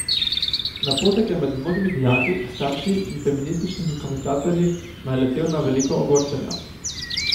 Napotek je med mnogimi dijaki, starši in feminističnimi komentatorji naletel na veliko ogorčenja.